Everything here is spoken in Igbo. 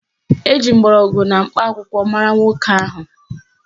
Eji mgbọrọgwụ na mkpa akwụkwọ mara nwoke ahụ